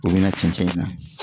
U be na cɛnɛn in na